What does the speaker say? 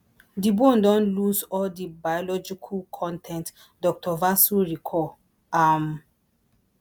di bone don lose all di biological con ten t dr vasu recall um